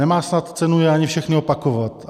Nemá snad cenu je ani všechny opakovat.